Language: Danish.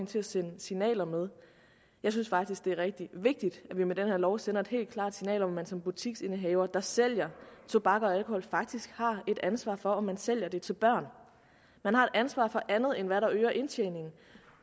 til at sende signaler med jeg synes faktisk det er rigtig vigtigt at vi med den her lov sender et helt klart signal om at man som butiksindehaver der sælger tobak og alkohol faktisk har et ansvar for om man sælger det til børn man har et ansvar for andet end hvad der øger indtjeningen